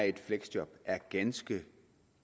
i et fleksjob er ganske